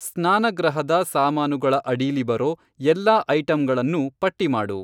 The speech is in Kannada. ಸ್ನಾನಗೃಹದ ಸಾಮಾನುಗಳ ಅಡೀಲಿ ಬರೋ ಎಲ್ಲಾ ಐಟಂಗಳನ್ನೂ ಪಟ್ಟಿ ಮಾಡು.